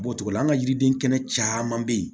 Bɔcogo la an ka yiriden kɛnɛ caman be yen